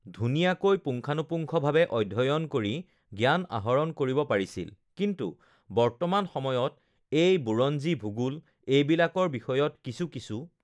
ধুনীয়াকৈ পুংখানুপুংখভাৱে অধ্যয়ন কৰি জ্ঞান আহৰণ কৰিব পাৰিছিল কিন্তু বৰ্তমান সময়ত এই বুৰঞ্জী ভূগোল এইবিলাকৰ বিষয়ত কিছু কিছু